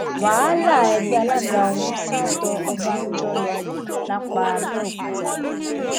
wàhálà ẹgbẹ alága wọn sà tó ọbànújò lọ lápàbèòkúta